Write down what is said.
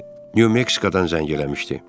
Nyu Meksikadan zəng eləmişdi.